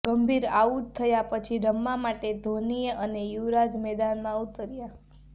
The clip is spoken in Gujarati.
ગંભીરના આઉટ થયા પછી રમવા માટે ધોની અને યુવરાજ મેદાનમાં ઉતર્યા